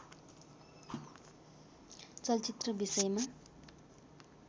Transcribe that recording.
चलचित्र विषयमा